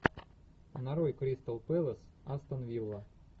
нарой кристал пэлас астон вилла